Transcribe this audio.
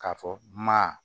K'a fɔ ma